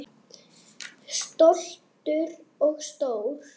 Stoltur og stór.